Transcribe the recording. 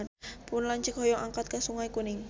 Pun lanceuk hoyong angkat ka Sungai Kuning